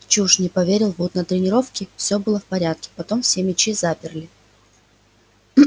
чушь не поверил вуд на тренировке всё было в порядке потом все мячи заперли